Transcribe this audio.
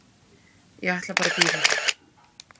Ég ætla bara að bíða.